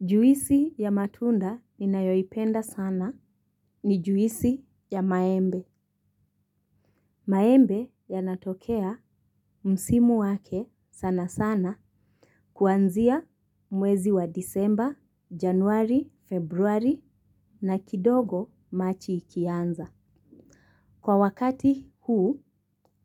Juisi ya matunda ninayoipenda sana ni juisi ya maembe. Maembe yanatokea msimu wake sana sana kuanzia mwezi wa disemba, januari, februari na kidogo machi ikianza. Kwa wakati huu,